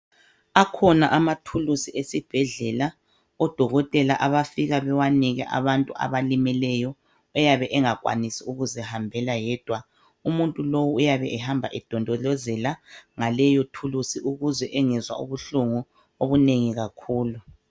Akhona amathuluzi esibhedlela odokotela abafika bewanike abantu abalimeleyo oyabe engakwanisi ukuzihambela yedwa. Umuntu lowu uyabe ehamba edondolozela ngaleyothulusi ukuze engezwa ubuhlungu obunengi kakhulu.